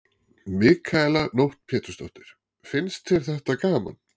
Mikaela Nótt Pétursdóttir: Finnst þér þetta gaman?